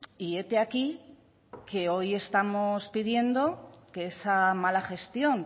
y hete aquí que hoy estamos pidiendo que esa mala gestión